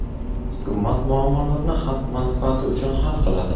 hukumat muammolarni xalq manfaati uchun hal qiladi.